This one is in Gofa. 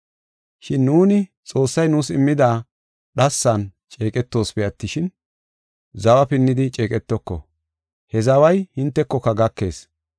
Shin nuuni Xoossay nuus immida dhassan ceeqetoosipe attishin, zawa pinnidi ceeqetoko; he zaway hintekoka gakees.